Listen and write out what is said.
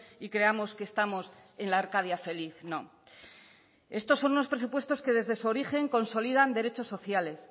y creamos que estamos en la arcadia feliz no estos son unos presupuestos que desde su origen consolidan derechos sociales